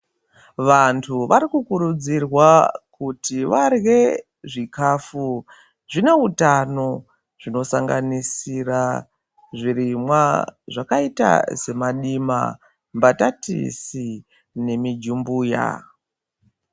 Vantu varikukurudzirwa kuti varye zvikafu zvine utano zvinosanganisira zvirimwa zvakaita semadima mbatatisi nemijumbuya.